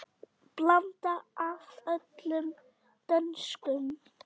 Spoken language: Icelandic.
Blanda af öllum dönsum.